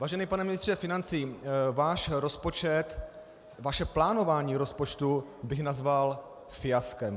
Vážený pane ministře financí, váš rozpočet, vaše plánování rozpočtu bych nazval fiaskem.